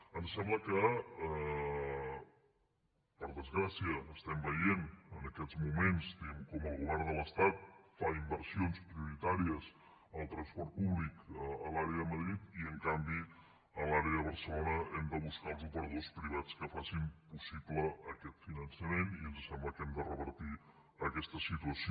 ens sembla que per desgràcia estem veient en aquests moments com el govern de l’estat fa inversions prioritàries en el transport públic a l’àrea de madrid i en canvi a l’àrea de barcelona hem de buscar els operadors privats que facin possible aquest finançament i ens sembla que hem de revertir aquesta situació